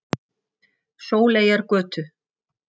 Sóleyjargötu